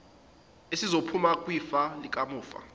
esizophuma kwifa likamufa